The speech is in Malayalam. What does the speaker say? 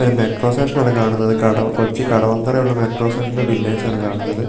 ഒരു മെട്രോ സ്റ്റേഷൻ ആണ് കാണുന്നത് കട കൊച്ചി കടവന്തര ഉള്ള മെട്രോ സ്റ്റേഷന്റെ ബില്ലേഴ്‌സ് ആണ് കാണുന്നത്